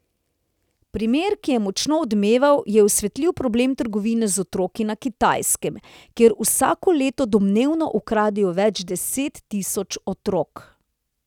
Primer, ki je močno odmeval, je osvetlil problem trgovine z otroki na Kitajskem, kjer vsako leto domnevno ukradejo več deset tisoč otrok.